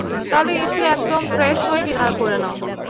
আচ্ছা তাহলে এসে একদম fresh হয়ে dinner করে নাও?